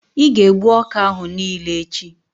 ị ga-egbu ọka ahụ niile echi!